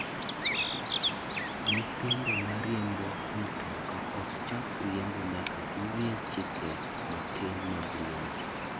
Nyithindo ma riembo mutoka ok chak riembo nyaka ging'e chike matin mag riembo.